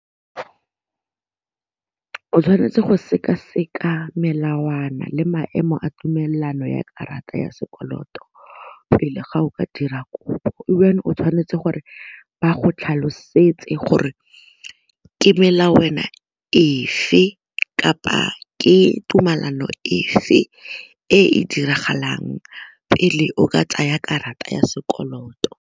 O tshwanetse go sekaseka melawana le maemo a tumelano ya karata ya sekoloto pele ga o ka dira kopo o tshwanetse gore ba tlhalosetse gore ke melawana efe kapa ke tumalano efe e diragalang pele o ka tsaya karata ya sekoloto.